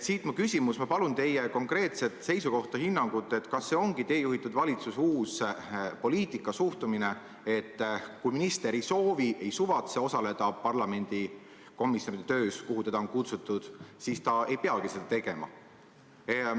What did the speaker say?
Siit mu küsimus: ma palun teie konkreetset seisukohta, hinnangut, kas see ongi teie juhitud valitsuse uus poliitika, suhtumine, et kui minister ei soovi, ei suvatse osaleda parlamendikomisjonide töös, kuhu teda on kutsutud, siis ta ei peagi seda tegema?